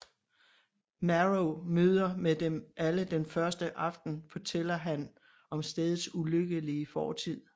Marrow møder med dem alle den første aften fortæller han om stedets ulykkelige fortid